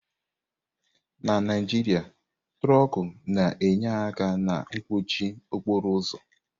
Na Naijiria, trọkú na-enye aka na mkpọchị okporo ụzọ.